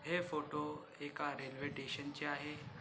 हे फोटो एका railway station चे आहे.